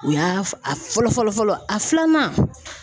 U y'a a fɔlɔ fɔlɔ fɔlɔ a filanan